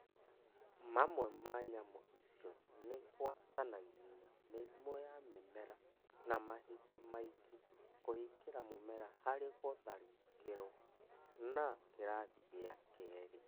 Mamwe ma nyamũ icio nĩgwatanagia mĩrimũ ya mĩmera na mahinda maingĩ kũhingĩra mũmera harĩ gũtharĩkĩrwo na kĩrathi gĩa Keri